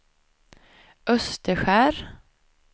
Österskär